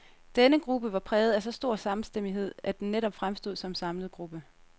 Denne gruppe var præget af så stor samstemmighed, at den netop fremstod som samlet gruppe.